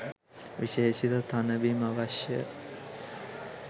විශේෂිත තණ බිම් අවශ්‍යය